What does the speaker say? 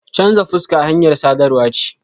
Chanza fuska hanyar sadarwa ce.